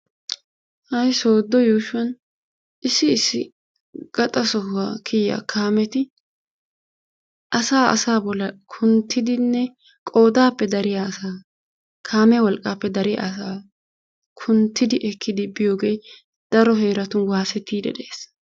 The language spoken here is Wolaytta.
Ha'i sooddo yuushuwan issi issi gaxa sohuwaa kiyiyaa kaameti asaa asaa bollan kunttidinne qoodaappe dariyaa asaa kaamiyaa wolqqaappe dariyaa asaaa kunttidi ekkidi biyoogee daro heeratun waasettiiddi de'ees.